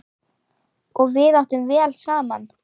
Og við áttum vel saman.